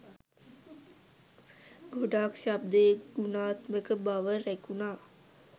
ගොඩක් ශබ්දයේ ගුණාත්මක බව රැකුණා.